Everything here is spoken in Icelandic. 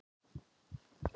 Svo varð ekki raunin